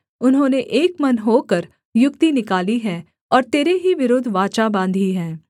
उन्होंने एक मन होकर युक्ति निकाली है और तेरे ही विरुद्ध वाचा बाँधी है